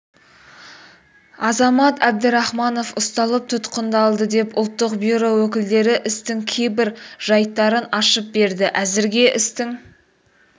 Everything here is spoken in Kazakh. азамат әбдірахманов ұсталып тұтқындалды деп ұлттық бюро өкілдері істің кейбір жайттарын ашып берді әзірге істің